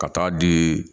Ka taa di